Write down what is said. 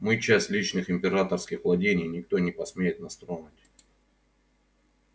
мы часть личных императорских владений никто не посмеет нас тронуть